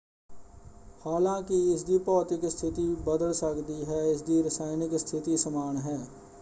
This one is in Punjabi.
ਹਾਲਾਂਕਿ ਇਸਦੀ ਭੌਤਿਕ ਸਥਿਤੀ ਬਦਲ ਸਕਦੀ ਹੈ ਇਸਦੀ ਰਸਾਇਣਕ ਸਥਿਤੀ ਸਮਾਨ ਹੈ।